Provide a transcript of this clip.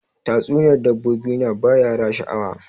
Tatsuniyar dabbobi na ba yara sha'awa